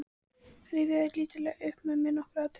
Rifjaðu lítillega upp með mér nokkur atriði.